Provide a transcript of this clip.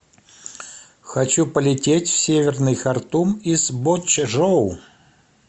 хочу полететь в северный хартум из бочжоу